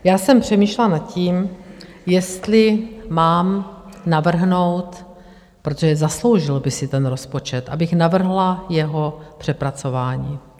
Já jsem přemýšlela nad tím, jestli mám navrhnout, protože zasloužil by si ten rozpočet, abych navrhla jeho přepracování.